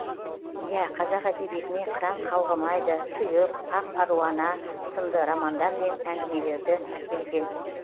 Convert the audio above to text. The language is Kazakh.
иә қазақ әдебиетіне қыран қалғымайды тұйық ақ аруана сынды романдар мен әңгімелерді әкелген